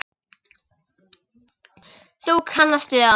Þú kannast við það!